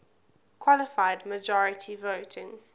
qualified majority voting